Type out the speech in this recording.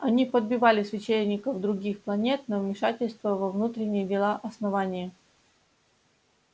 они подбивали священников других планет на вмешательство во внутренние дела основания